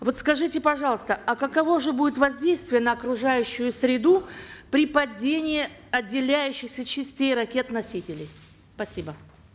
вот скажите пожалуйста а каково же будет воздействие на окружающую среду при падении отделяющихся частей ракет носителей спасибо